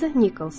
Liza Nichols.